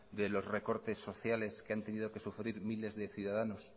de los recortes sociales que han tenido que sufrir miles de ciudadanos